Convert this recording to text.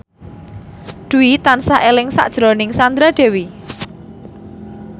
Dwi tansah eling sakjroning Sandra Dewi